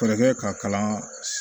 Fɛɛrɛ kɛ ka kalan